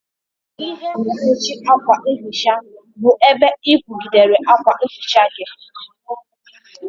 Ihe mkpuchi akwa nhicha bụ ebe ị kwụgidere akwa nhicha gị.